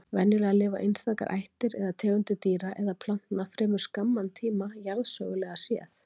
Venjulega lifa einstakar ættir eða tegundir dýra eða plantna fremur skamman tíma jarðsögulega séð.